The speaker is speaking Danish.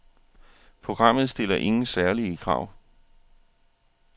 Programmet stiller ingen særlige krav.